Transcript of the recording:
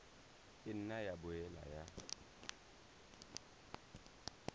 ka nna ya boela ya